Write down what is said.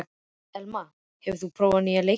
Elma, hefur þú prófað nýja leikinn?